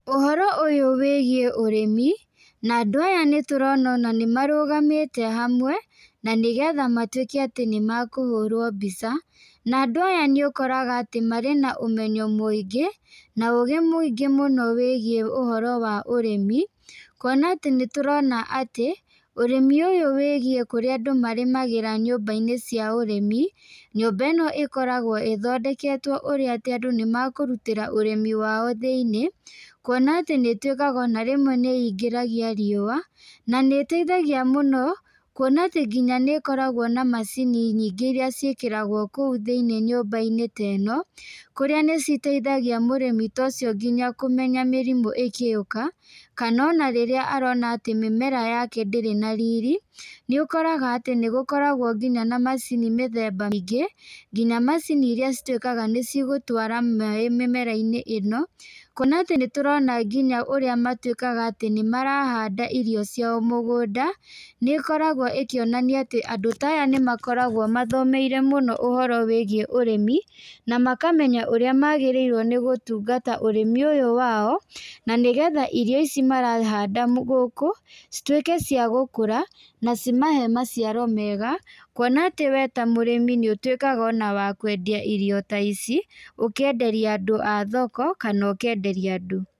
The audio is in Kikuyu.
Ũhoro ũyu wĩgiĩ ũrĩmi, na andũ aya tũrona ona nĩmarũgamĩte hamwe ,na nĩgetha matwĩke atĩ nĩmakũhũrwo mbica, na andũ aya nĩ ũkoraga atĩ marĩ na ũmenyo mũingĩ na ũgĩ mũingĩ wĩgiĩ ũhoro wa ũrĩmi, kuona atĩ nĩtũrona atĩ , ũrĩmi ũyũ wĩgiĩ kũrĩa andũ marĩmagĩra nyũmba-inĩ cia ũrĩmi, nyũmba ĩno ĩkoragwo ĩthondeketwo ũrĩa atĩ andũ nĩmakũrutĩra ũrĩmi wao thĩiniĩ, kuona atĩ nĩ ĩtwĩkaga ona rĩmwe nĩ ĩngĩragia riũa, na nĩ ĩteithagia mũno, kuona atĩ nĩ ĩkoragwo na macini nyingĩ iria ciĩkĩ ragwo thĩiniĩ nyũmba-inĩ ta ĩno, kũrĩa nĩ citeithagia mũrĩmi ta ũcio nginya kũmenya mĩrimũ ĩgĩũka, kana ona rĩrĩa arona mĩmera yake ndĩrĩ na riri, nĩ ũkoraga atĩ ĩigũkoragwo nginya na macini mĩthemba ĩngĩ, nginya macini iria citwĩkaga nĩcigũtwara maaĩ mĩmera-inĩ ĩno, kuona atĩ nĩtũrona nginya ũrĩa matwĩkaga atĩ nĩmarahanda irio ciao mũgũnda , nĩ ĩkoragwo ĩkĩonania andũ ta aya nĩmakoragwo mathomeire mũno ũhoro wĩgiĩ ũrĩmi, na makamenya ũrĩa magĩrĩirwo nĩgũtungata ũrĩmi ũyũ wao , na nĩgetha irio ici marahanda gũkũ , citwĩke cia gũkũra ,na cimahe maciaro mega, kuona atĩ we ta mũrĩmi nĩ ũtwĩkaga wa ona wa kwendia irio ta ici , ũkenderia andũ a thoko, kana ũkenderia andũ.